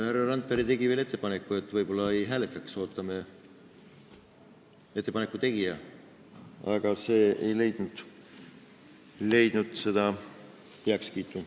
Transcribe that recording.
Härra Randpere tegi veel ettepaneku, et võib-olla ei hääletaks ja ootaks ära ettepaneku tegija, aga see ei leidnud heakskiitu.